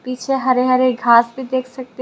पीछे हरे हरे घास भी देख सकते है।